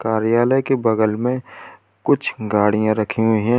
कार्यालय के बगल में कुछ गाड़ियां रखी हुई हैं।